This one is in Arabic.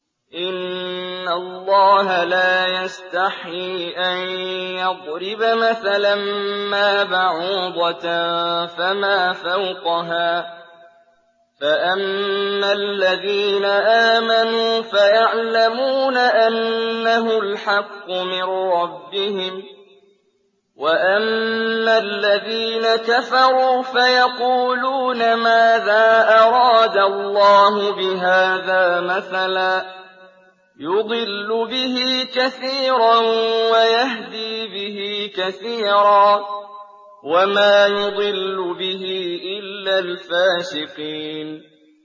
۞ إِنَّ اللَّهَ لَا يَسْتَحْيِي أَن يَضْرِبَ مَثَلًا مَّا بَعُوضَةً فَمَا فَوْقَهَا ۚ فَأَمَّا الَّذِينَ آمَنُوا فَيَعْلَمُونَ أَنَّهُ الْحَقُّ مِن رَّبِّهِمْ ۖ وَأَمَّا الَّذِينَ كَفَرُوا فَيَقُولُونَ مَاذَا أَرَادَ اللَّهُ بِهَٰذَا مَثَلًا ۘ يُضِلُّ بِهِ كَثِيرًا وَيَهْدِي بِهِ كَثِيرًا ۚ وَمَا يُضِلُّ بِهِ إِلَّا الْفَاسِقِينَ